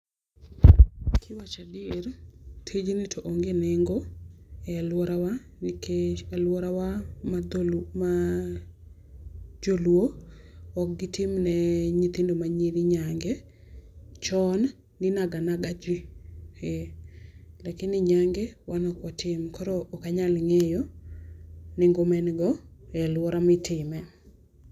Kiwacho adieri ,tijni to onge nengo e aluora wa, nikech aluora wa ma jo luo ok gi timne nyithindo ma nyiri nyange, chon ni inaganaga ji lakini nyange wan ok watim koro ok anyal ng'eyo nengo maen go e aluora mitime.